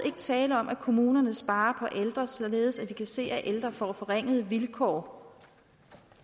ikke tale om at kommunerne sparer ældre således at vi kan se at de ældre får forringede vilkår